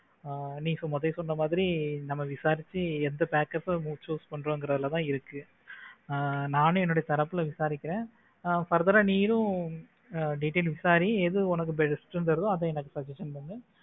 நீ முதல்ல சொன்ன மாதிரி நம்ம விசாரிச்சு எந்த packers choose பண்றோம் என்கிறதுல தான் இருக்கு ஆஹ் நானும் என்னுடைய தரப்பில் விசாரிக்கிற further அஹ் நீயும் details விசாரி எது உனக்கு best ன்னு தெரியுதோ அதை எனக்கு suggestion பண்ணு